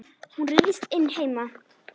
Hún ryðst inn heima.